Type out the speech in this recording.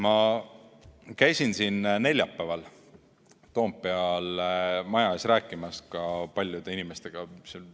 Ma käisin neljapäeval Toompeal maja ees rääkimas paljude inimestega.